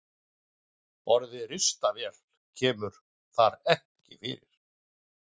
Orðið ristavél kemur þar ekki fyrir.